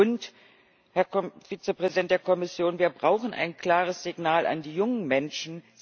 Und, Herr Vizepräsident der Kommission, wir brauchen ein klares Signal an die jungen Menschen.